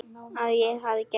Að ég hafi gefist upp.